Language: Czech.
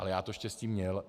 Ale já to štěstí měl.